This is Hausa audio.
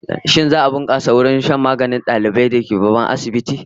Shin za'a bunkasa matsayin wurin shan maganin ma'aikata da dalibai zuwa babban asibiti?